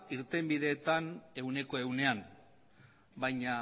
irtenbideetan ehuneko ehunean baina